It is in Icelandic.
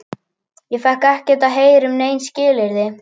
Ég fékk ekkert að heyra um nein skilyrði.